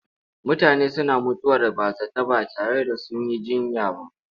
Mutane suna mutuwar bazata ba tare da sun yi jiyya ba.